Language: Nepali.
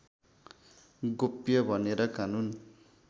गोप्य भनेर कानून